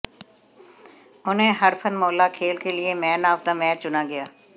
उन्हें हरफनमौला खेल के लिए मैन ऑफ द मैच चुना गया